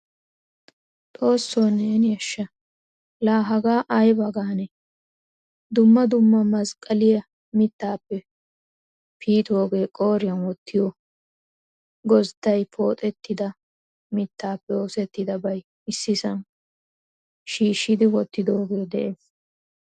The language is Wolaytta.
Xoosso neeni ashshaa la hagaa ayba gaane? Dumma dumma masqqaliya mittappe piitoge, qooriyan wottiyo gozday pooxetida mittappe oosettidabay issisan shiishidi wottidoge de'ees.